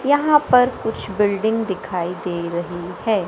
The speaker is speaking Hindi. यहां पर कुछ बिल्डिंग दिखाई दे रही हैं।